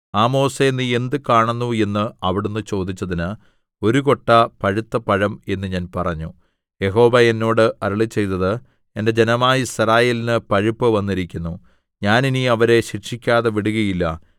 ആമോസേ നീ എന്ത് കാണുന്നു എന്ന് അവിടുന്ന് ചോദിച്ചതിന് ഒരു കൊട്ട പഴുത്തപഴം എന്ന് ഞാൻ പറഞ്ഞു യഹോവ എന്നോട് അരുളിച്ചെയ്തത് എന്റെ ജനമായ യിസ്രായേലിന് പഴുപ്പ് വന്നിരിക്കുന്നു ഞാൻ ഇനി അവരെ ശിക്ഷിക്കാതെ വിടുകയില്ല